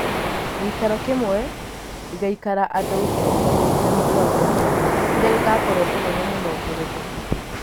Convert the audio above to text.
Gĩikaro kĩmwe gĩgaikara andũ ngiri ikũmi na mũgwanja, kĩrĩa gĩgakorwo kĩnene mũno ngeretha